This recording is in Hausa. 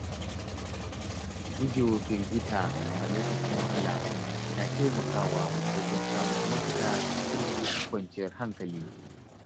Gujewa firgita a lokacin wahala na taimakawa wajen samun mafita cikin kwanciyar hankali.